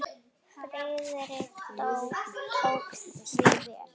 Friðrik tók því vel.